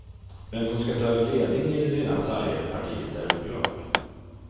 Vem som ska ta över ledningen i det redan sargade partiet är oklart.